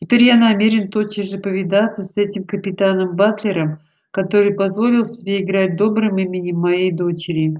теперь я намерен тотчас же повидаться с этим капитаном батлером который позволил себе играть добрым именем моей дочери